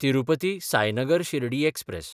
Tirupati Sainagar Shirdi express